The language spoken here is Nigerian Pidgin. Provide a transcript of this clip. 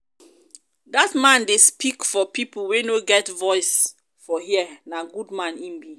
dat man dey speak for pipo wey no get voice voice for here na good man im be.